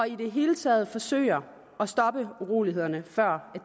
i det hele taget forsøger at stoppe urolighederne før